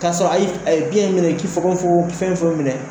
Kasɔrɔ a y'i f a ye biyɛn in minɛ k'i fogon fogon k'i fɛn fɔlɔ minɛ